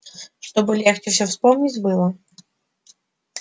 чтобы легче всё вспомнить было